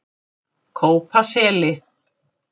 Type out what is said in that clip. Kópaseli